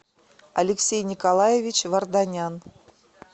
алексей николаевич варданян